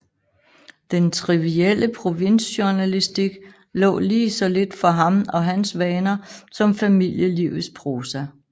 Den trivielle provinsjournalistik lå lige så lidt for ham og hans vaner som familielivets prosa